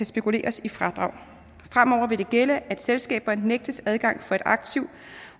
spekuleres i fradrag fremover vil det gælde at selskaber nægtes adgang for et aktiv